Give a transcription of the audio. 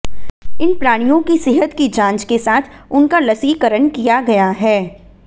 इन प्राणियों के सेहत की जांच के साथ उनका लसीकरण किया गया है